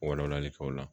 Wala walali kɛ o la